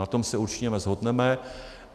Na tom se určitě shodneme.